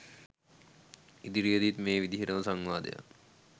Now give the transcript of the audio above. ඉදිරියේදීත් මේ විදියටම සංවාදයක්